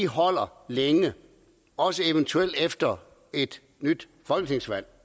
holder længe også eventuelt efter et nyt folketingsvalg